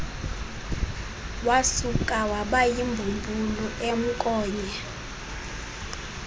wasuka wabayimbumbulu emnkonya